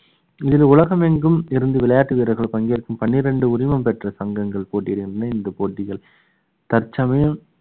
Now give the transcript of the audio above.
இதில் உலகமெங்கும் இருந்து விளையாட்டு வீரர்கள் பங்கேற்கும் பன்னிரண்டு உரிமம் பெற்ற சங்கங்கள் போட்டி இடுகின்றன இந்த போட்டிகள் தற்சமயம்